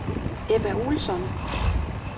Ebba Olsson